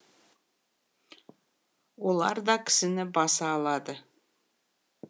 олар да кісіні баса алады